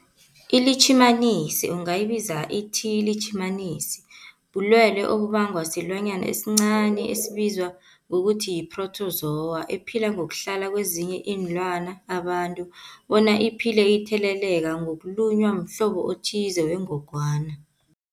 iLitjhimanisi ungayibiza uthiyilitjhimanisi, bulwelwe obubangwa silwanyana esincani esibizwa ngokuthiyi-phrotozowa ephila ngokuhlala kezinye iinlwana, abantu bona iphile itheleleka ngokulunywa mhlobo othize wengogwana.